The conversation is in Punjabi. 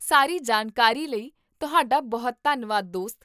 ਸਾਰੀ ਜਾਣਕਾਰੀ ਲਈ ਤੁਹਾਡਾ ਬਹੁਤ ਧੰਨਵਾਦ, ਦੋਸਤ